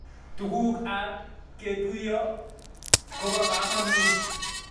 tuguk ab ketuyo kopokamanut